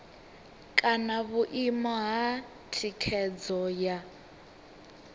kana vhuimo ha thikhedzo ya